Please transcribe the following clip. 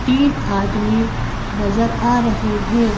तीन आदमीनजर आ रहे हैं।